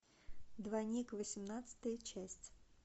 двойник восемнадцатая часть